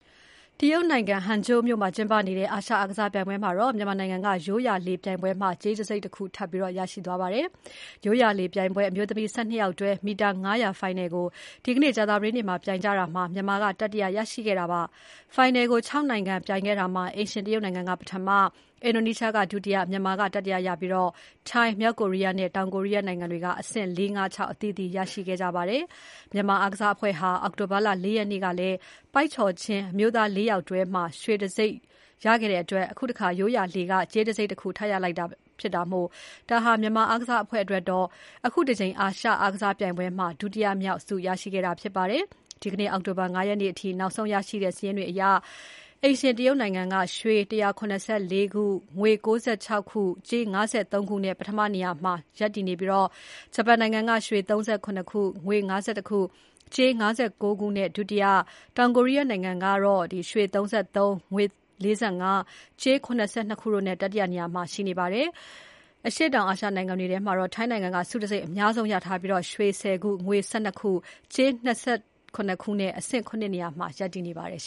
တရုတ်နိုင်ငံ Hangzhou မြို့မှာကျင်းပနေတဲ့ အာရှအားကစားပြိုင်ပွဲမှာတော့ မြန်မာနိုင်ငံက ရိုးရာလှေပြိုင်ပွဲမှာ ကြေးတံဆိပ်တခု ထပ်မံ ရရှိခဲ့ပါတယ်။ ရိုးရာလှေပြိုင်ပွဲ အမျိုးသမီး ၁၂ ယောက်တွဲ မီတာ ၅၀၀ ဖိုင်နယ်ကို ဒီနေ့ ကြာသပတေးနေ့မှာ ပြိုင်ကြတာမှာ မြန်မာက တတိယ ရရှိခဲ့တာပါ။ ဖိုင်နယ်ကို ၆ နိုင်ငံပြိုင်ခဲ့ကြတာမှာ အိမ်ရှင် တရုတ်နိုင်ငံက ပထမ၊ အင်ဒိုနီးရှားက ဒုတိယ၊ မြန်မာကတတိယ ရပြီး၊ ထိုင်း၊ မြောက်ကိုရီးယား နဲ့တောင်ကိုရီးယားနိုင်ငံတွေက အဆင့် ၄ ၊ ၅ ၊ ၆ အသီးသီးရရှိခဲ့ကြတာဖြစ်ပါတယ်။ မြန်မာအားကစားအဖွဲ့ဟာ အောက်တိုဘာ ၄ ရက်နေ့ကလည်း ပိုက်ကျော်ခြင်း အမျိုးသား ၄ ယောက်တွဲမှာ ရွှေတံဆိပ်ရခဲ့တဲ့အတွက် အခုတခါ ရိုးရာလှေကနေ ကြေးတံဆိပ်တခုထပ်ရလိုက်တဲ့အတွက် ဒါဟာ မြန်မာအားကစားအဖွဲ့အတွက်တော့ အခုတကြိမ် အာရှ အားကစားပြိုင်ပွဲမှာ ဒုတိယမြောက် ဆုတံဆိပ်ရရှိတာဖြစ်ပါတယ်။ ဒီနေ့ အောက်တိုဘာ ၅ ရက်နေ့အထိ နောက်ဆုံးရရှိတဲ့ စာရင်းတွေအရတော့၊ အိမ်ရှင်တရုတ်နိုင်ငံက ရွှေ ၁၇၄ ခု၊ ငွေ ၉၆ ခု၊ ကြေး ၅၃ ခု နဲ့ ပထမနေရာမှာ ရပ်တည်နေပြီး၊ ဂျပန်နိုင်ငံက ရွှေ ၃၇ ၊ ငွေ ၅၁၊ ကြေး ၅၉ နဲ့ ဒုတိယ၊ တောင်ကိုရီးယားနိုင်ငံက ရွှေ ၃၃ ၊ ငွေ ၄၅၊ ကြေး ၇၂ ခု နဲ့ တတိယ နေရာမှာ ရပ်တည်နေပါတယ်။ အရှေ့တောင်အာရှနိုင်ငံတွေထဲမှာတော့ ထိုင်းနိုင်ငံက ဆုတံဆိပ်အများဆုံးရထားပြီး ရွှေ ၁၀ ခု ၊ ငွေ ၁၂ ခု ၊ ကြေး ၂၇ ခု နဲ့ အဆင့် ၇ နေရာရပ်တည်နေပါတယ်